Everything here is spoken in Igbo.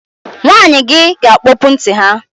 Nwanyị gi ga-akpọpụ ntị ha